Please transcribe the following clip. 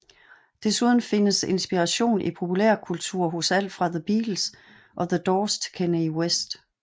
Desuden findes inspirationen i populærkultur hos alt fra The Beatles og The Doors til Kanye West